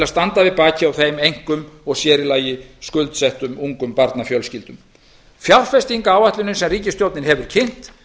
standa við bakið á þeim einkum og sérílagi skuldsettum ungum barnafjölskyldum fjárfestingaráætlunin sem ríkisstjórnin hefur kynnt